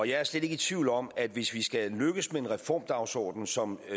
jeg er slet ikke i tvivl om at hvis vi skal lykkes med en reformdagsorden som